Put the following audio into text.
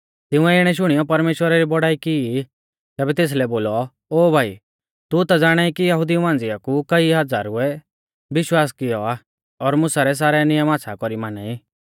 तिंउऐ इणै शुणियौ परमेश्‍वरा री बौड़ाई की ई तैबै तेसलै बोलौ ओ भाई तू ता ज़ाणाई कि यहुदिऊ मांझ़िया कु कई हज़ारुऐ विश्वास कियौ आ और मुसा रै सारै नियम आच़्छ़ा कौरी माना ई